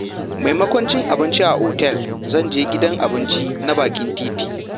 Maimakon cin abinci a otal, zan je gidan abinci na bakin titi.